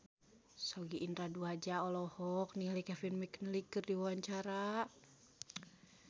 Sogi Indra Duaja olohok ningali Kevin McNally keur diwawancara